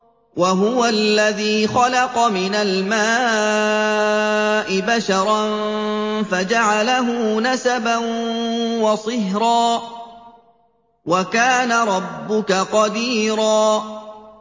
وَهُوَ الَّذِي خَلَقَ مِنَ الْمَاءِ بَشَرًا فَجَعَلَهُ نَسَبًا وَصِهْرًا ۗ وَكَانَ رَبُّكَ قَدِيرًا